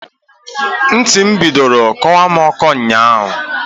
Ntị m bidoro kọwa m ọkọ ụnyaahụ.